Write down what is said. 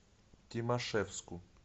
тимашевску